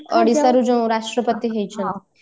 ଓଡିଶାର ଯୋଉ ରାଷ୍ଟ୍ରପତି ହେଇଛନ୍ତି